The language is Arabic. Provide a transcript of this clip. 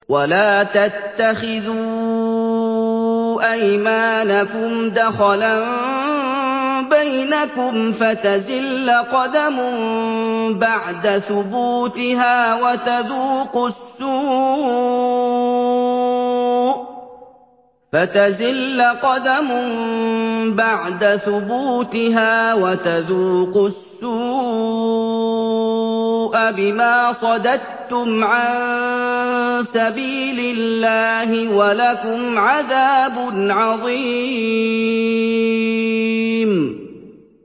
وَلَا تَتَّخِذُوا أَيْمَانَكُمْ دَخَلًا بَيْنَكُمْ فَتَزِلَّ قَدَمٌ بَعْدَ ثُبُوتِهَا وَتَذُوقُوا السُّوءَ بِمَا صَدَدتُّمْ عَن سَبِيلِ اللَّهِ ۖ وَلَكُمْ عَذَابٌ عَظِيمٌ